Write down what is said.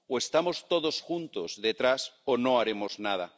O estamos todos juntos, detrás, o no haremos nada.